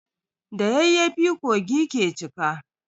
Da yayyafi kogi ke cika.